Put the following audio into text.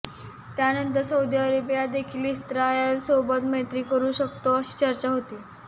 त्यानंतर सौदी अरेबियादेखील इस्रायलसोबत मैत्री करू शकतो अशी चर्चा होती